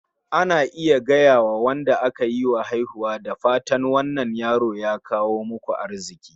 Ana iya gayawa Wanda aka yiwa haihuwa "da fatan wannan yaro ya kawo muku arziki